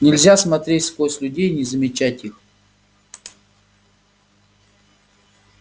нельзя смотреть сквозь людей и не замечать их